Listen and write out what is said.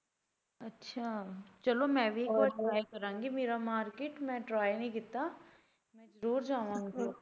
ਅੱਛਾ ਚੱਲੋ ਮੈਂ ਵੀ try ਕਰਾਂਗੀ ਮੇਰਾ market ਮੈਂ try ਨੀ ਕੀਤਾ ਦੂਰ ਜਾਵਾਂਗੇ।